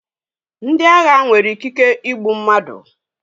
Ndi agha nwere ikike igbu mmadụ